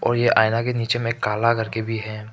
ये आईना के नीचे में काला करके भी है।